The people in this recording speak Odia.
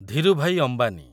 ଧୀରୁଭାଇ ଅମ୍ବାନୀ